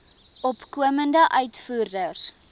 opkomende uitvoerders